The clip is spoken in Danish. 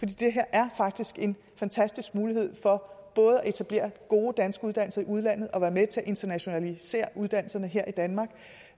det her er faktisk en fantastisk mulighed for både at etablere gode danske uddannelser i udlandet og at være med til at internationalisere uddannelserne her i danmark